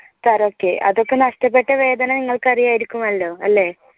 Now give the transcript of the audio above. അതൊക്കെ നഷ്ടപ്പെട്ട വേദന നിങ്ങൾക്ക് അറിയാമായിരിക്കും അല്ലോ അല്ലേ?